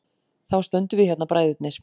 Þá stöndum við hérna, bræðurnir.